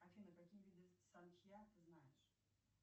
афина какие виды ты знаешь